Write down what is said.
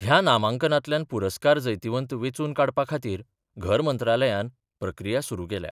ह्या नामांकनातल्यान पुरस्कार जैतिवंत वेचुन काडपाखातीर घर मंत्रालयान प्रक्रिया सुरु केल्या.